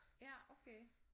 Ja okay